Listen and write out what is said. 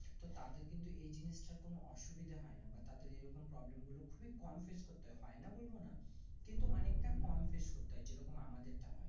তো তাদের কিন্তু এই জিনিস তার কোনো অসুবিধা হয় না বা তাদের এই রকম problem গুলো খুবই কম ফিস্ট করতে হয় হয় না বলবোনা কিন্তু অনেক তা কম ফিস্ট করতে হয় যেরকম আমাদের তা হয়